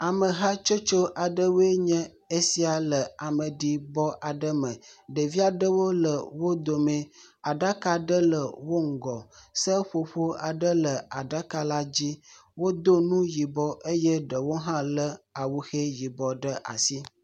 Amehatsotso aɖewoe nye esia le ameɖibɔ aɖe me. Ɖevia le wo dome. Aɖake ɖe le wo ŋgɔ. Seƒoƒo aɖe le aɖaka dzi. Wodo nu yibɔ eye ɖewo hã le awu ʋe yibɔ ɖe asi.